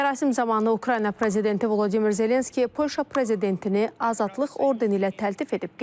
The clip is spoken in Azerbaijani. Mərasim zamanı Ukrayna prezidenti Volodimir Zelenski Polşa prezidentini azadlıq ordeni ilə təltif edib.